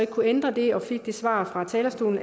kunne ændre den jeg fik det svar fra talerstolen